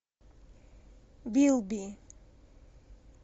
билби